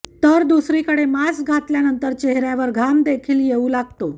तर दुसरीकडे मास्क घातल्यानंतर चेहऱ्यावर घाम देखील येऊ लागतो